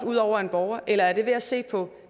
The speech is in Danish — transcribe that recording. ud over en borger eller er det ved at se på